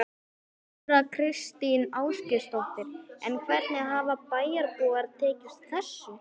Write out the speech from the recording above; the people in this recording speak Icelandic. Þóra Kristín Ásgeirsdóttir: En hvernig hafa bæjarbúar tekið þessu?